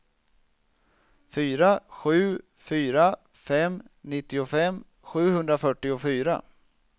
fyra sju fyra fem nittiofem sjuhundrafyrtiofyra